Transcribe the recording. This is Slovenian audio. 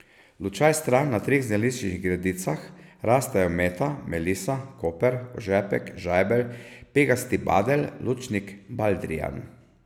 Lučaj stran na treh zeliščnih gredicah rastejo meta, melisa, koper, ožepek, žajbelj, pegasti badelj, lučnik, baldrijan...